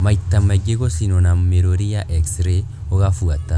Maita maingĩ, gũcinwo na mĩrũri ya x-ray gũgabuata